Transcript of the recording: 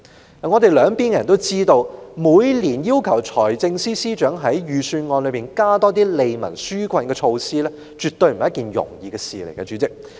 主席，我們兩邊的人也知道，每年要求財政司司長在財政預算案中多加一些利民紓困措施絕不是一件容易的事。